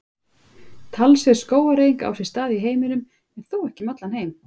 Talsverð skógareyðing á sér stað í heiminum en þó ekki um heim allan.